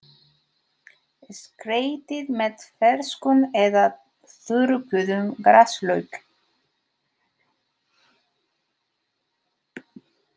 Skreytið með ferskum eða þurrkuðum graslauk.